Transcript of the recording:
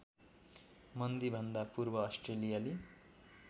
मन्दीभन्दा पूर्व अस्ट्रेलियाली